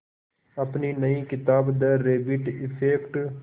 अपनी नई किताब द रैबिट इफ़ेक्ट